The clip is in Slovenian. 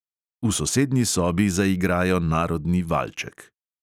V sosednji sobi zaigrajo narodni valček.